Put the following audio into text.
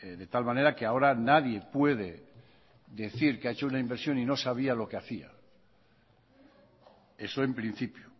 de tal manera que ahora nadie puede decir que ha hecho una inversión y no sabía lo que hacía eso en principio